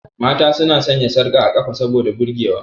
Mata su na sanya sarka a ƙafa saboda burge wa.